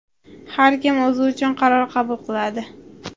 Har kim o‘zi uchun qaror qabul qiladi.